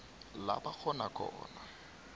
la bakghona khona